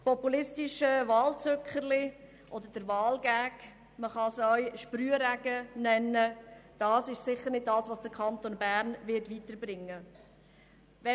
Das populistische Wahlzückerchen oder der WahlGag – man kann es auch Sprühregen nennen – ist sicher nicht das, was den Kanton Bern weiterbringen wird.